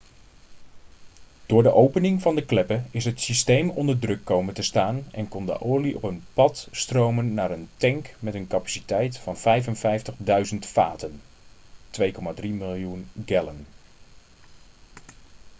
door de opening van de kleppen is het systeem onder druk komen te staan en kon de olie op een pad stromen naar een tank met een capaciteit van 55.000 vaten 2,3 miljoen gallon